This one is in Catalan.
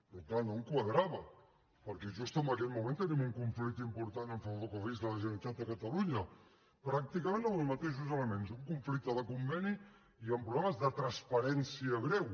però clar no em quadrava perquè just en aquest moment tenim un conflicte important amb ferrocarrils de la generalitat de catalunya pràcticament amb els mateixos elements un conflicte de conveni i amb problemes de transparència greu